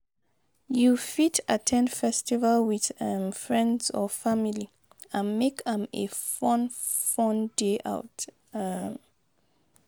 You fit at ten d festival with um friends or family and make am a fun fun day out. um